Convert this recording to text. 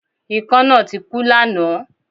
Ikán náà tik ú lánáàn